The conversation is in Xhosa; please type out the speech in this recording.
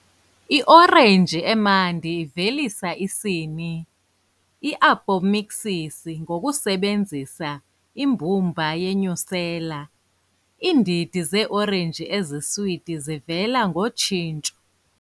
I-orange emnandi ivelisa isini, i-apomixis ngokusebenzisa imbumba ye-nucellar, Iindidi ze-orenji eziswiti zivela ngotshintsho.